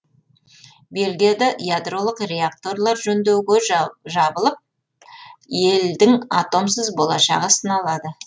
бельгияда ядролық реакторлар жөндеуге жабылып елдің атомсыз болашағы сыналады